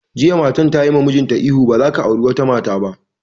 Jiya matar tayi wa mijinta ihu 'Ba za ka auri wata mata ba'!